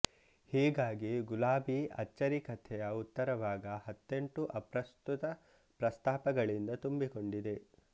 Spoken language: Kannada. ಹೀಗಾಗಿ ಗುಲಾಬಿ ಅಚ್ಚರಿಕಥೆಯ ಉತ್ತರಭಾಗ ಹತ್ತೆಂಟು ಅಪ್ರಸ್ತುತ ಪ್ರಸ್ತಾಪಗಳಿಂದ ತುಂಬಿಕೊಂಡಿದೆ